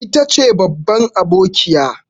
Ita ce babban abokiya.